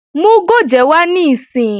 Mú gòjé wá níìsín!